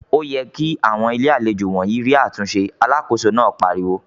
"Ó yẹ kí àwọn Ilé-àlejò wọ̀nyí rí àtúnṣe!" Alákòóso náà pariwo.